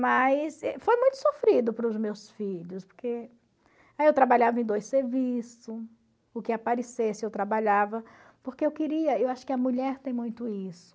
Mas foi muito sofrido para os meus filhos, porque eu trabalhava em dois serviços, o que aparecesse eu trabalhava, porque eu queria, eu acho que a mulher tem muito isso,